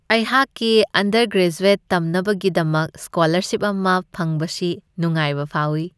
ꯑꯩꯍꯥꯛꯛꯤ undergraduate ꯇꯝꯅꯕꯒꯤꯗꯃꯛ scholarship ꯑꯃ ꯐꯪꯕꯁꯤ ꯅꯨꯡꯉꯥꯏꯕ ꯐꯥꯎꯋꯤ ꯫